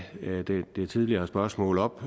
det tidligere spørgsmål op